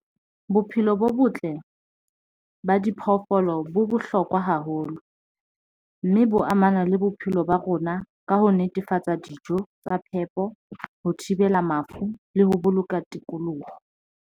Bophelo bo botle ba diphoofolo bo bohlokwa haholo mme bo amana le bophelo ba rona ka ho netefatsa dijo tsa phepo, ho thibela mafu le ho boloka tikoloho.